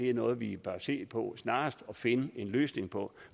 er noget vi bør se på snarest at finde en løsning på